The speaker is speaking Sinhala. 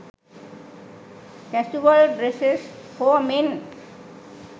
casual dresses for men